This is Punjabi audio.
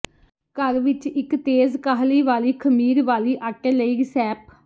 ਘਰ ਵਿੱਚ ਇੱਕ ਤੇਜ਼ ਕਾਹਲੀ ਵਾਲੀ ਖਮੀਰ ਵਾਲੀ ਆਟੇ ਲਈ ਰਿਸੈਪ